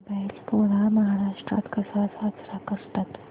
बैल पोळा महाराष्ट्रात कसा साजरा करतात